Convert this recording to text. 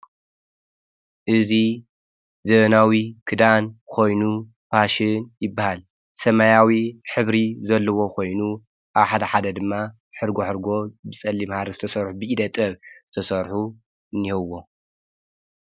እዙ ዘበናዊ ክዳን ኾይኑ ፋሽን ይበሃል ሰማያዊ ኅብሪ ዘለዎ ኾይኑ ኣብ ሓደ ሓደ ድማ ሕርጎ ሕርጎ ብጸሊም ሓ ሪ ዝተሠርኁ ብኢደጠብ ተሠርሑ እንህውዎ።